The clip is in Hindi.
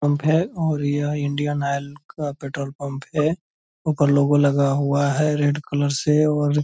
पंप है और यह इंडियन ऑयल का पेट्रोल पंप है | उपर लोगो लगा हुआ है रेड कलर से और --